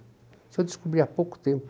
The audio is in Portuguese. Isso eu descobri há pouco tempo.